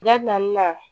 Dabilanni na